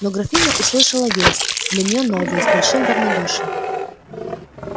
но графиня услышала весть для неё новую с большим равнодушием